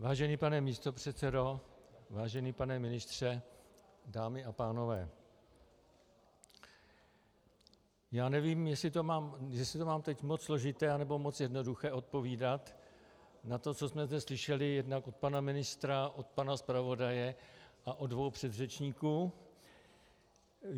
Vážený pane místopředsedo, vážený pane ministře, dámy a pánové, já nevím, jestli to mám teď moc složité, nebo moc jednoduché, odpovídat na to, co jsme zde slyšeli jednak od pana ministra, od pana zpravodaje a od dvou předřečníků.